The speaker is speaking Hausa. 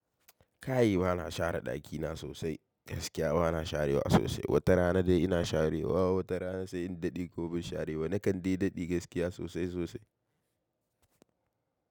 Kai ba na share ɗakina sosai, gaskiya ba na sharewa sosai. Wata rana dai ina sharewa, wata rana sai in daɗe kuma ban share ba. Nakan dai daɗe gaskiya sosai sosai.